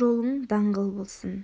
жолың даңғыл болсын